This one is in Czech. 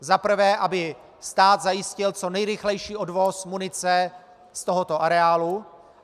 Za prvé, aby stát zajistil co nejrychlejší odvoz munice z tohoto areálu.